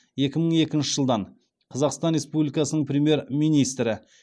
екі мың екінші жылдан қазақстан республикасының премьер министрі